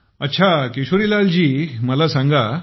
अच्छा किशोरीलाल जी मला सांगा